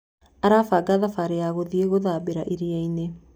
Arabanga thabari ya gũthiĩ gũthambĩra iriainĩ.